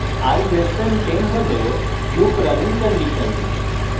i <10 হল loop running condition